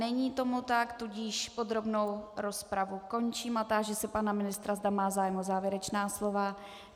Není tomu tak, tudíž podrobnou rozpravu končím a táži se pana ministra, zda má zájem o závěrečná slova.